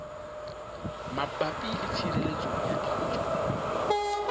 mabapi le tshireletso ya dijo